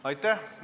Aitäh!